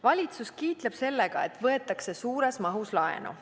Valitsus kiitleb sellega, et võetakse suures mahus laenu.